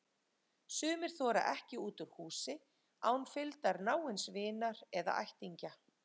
Sumir þora ekki út úr húsi án fylgdar náins vinar eða ættingja.